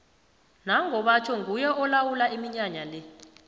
nango batjho nguye olawula iminyanya le